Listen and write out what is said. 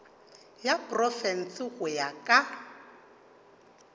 ya profense go ya ka